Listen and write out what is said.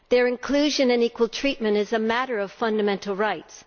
Their inclusion and equal treatment is a matter of fundamental rights.